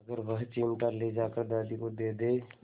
अगर वह चिमटा ले जाकर दादी को दे दे